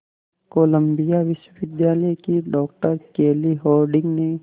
Colombia विश्वविद्यालय की doctor Kelly Harding ने